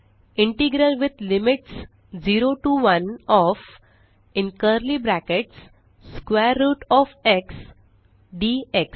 integral with limits 0 T O 1 O F square root O F x dx